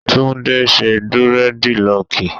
Tunde ṣe durediloki.